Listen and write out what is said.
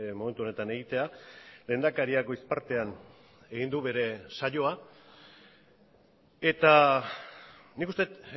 momentu honetan egitea lehendakariak goiz partean egin du bere saioa eta nik uste dut